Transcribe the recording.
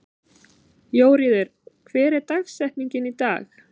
Jóríður, hver er dagsetningin í dag?